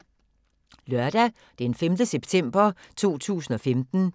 Lørdag d. 5. september 2015